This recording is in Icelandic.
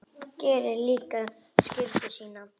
Gerir líka skyldu sína.